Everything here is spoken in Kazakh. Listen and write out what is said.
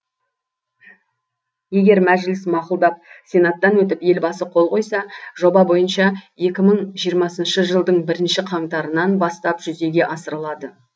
егер мәжіліс мақұлдап сенаттан өтіп елбасы қол қойса жоба бойынша екі мың жиырмасыншы жылдың бірінші қаңтарынан бастап жүзеге асырылады